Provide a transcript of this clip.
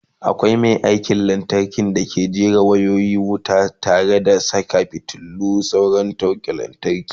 akwai Mai aikin lantarki dake jera wayoyin wuta tare da Saka fitilu da sauran naura ta lantarki